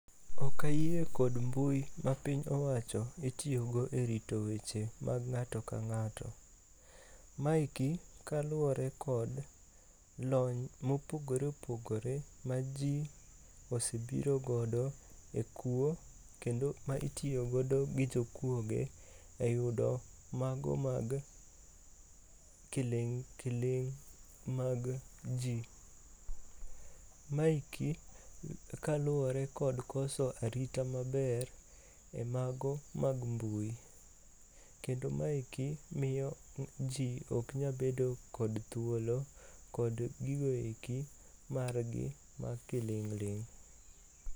Okayie kod mbui ma piny owacho itiyogo e rito weche mag ng'ato ka ng'ato. Maeki kaluwore kod lony mopogore opogore ma ji osebiro godo e kuo kendo ma itiyogodo gi jokuoge e yudo mago mag kiling' kiling' mag ji. Maeki kaluwore kod koso arita maber e mago mag mbui. Kendo maeki miyo ji ok nyabedo kod thuolo kod gigoeki margi ma kiling'ling'.